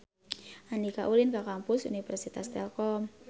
Andika ulin ka Kampus Universitas Telkom